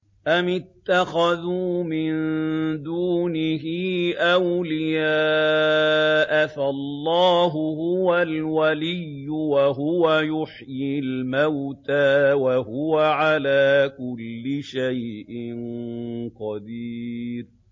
أَمِ اتَّخَذُوا مِن دُونِهِ أَوْلِيَاءَ ۖ فَاللَّهُ هُوَ الْوَلِيُّ وَهُوَ يُحْيِي الْمَوْتَىٰ وَهُوَ عَلَىٰ كُلِّ شَيْءٍ قَدِيرٌ